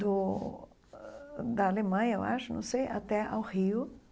do da Alemanha, eu acho, não sei, até ao Rio.